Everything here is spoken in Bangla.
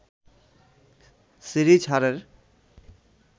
সিরিজ হারের